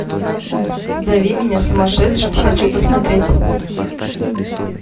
зови меня сумасшедшим хочу посмотреть